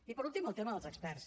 i per últim el tema dels experts